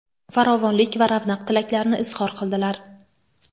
farovonlik va ravnaq tilaklarini izhor qildilar.